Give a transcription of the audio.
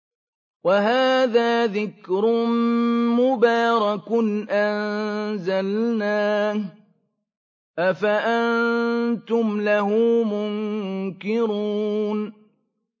وَهَٰذَا ذِكْرٌ مُّبَارَكٌ أَنزَلْنَاهُ ۚ أَفَأَنتُمْ لَهُ مُنكِرُونَ